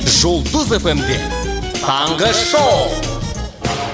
жұлдыз эф эм де таңғы шоу